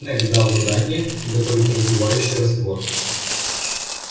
снегг дал задание приготовить раздувающий раствор